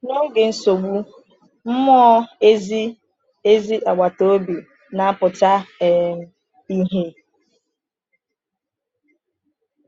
N’oge nsogbu, mmụọ ezi ezi agbata obi na-apụta um ìhè.